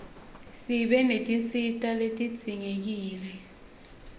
sibe netinsita letidzingekile